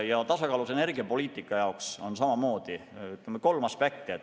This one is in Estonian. Ja tasakaalus energiapoliitika puhul on samamoodi mängus kolm aspekti.